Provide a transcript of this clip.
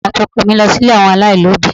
Èmi àti ọkọ mi lọ sí ilé àwọn alailobi.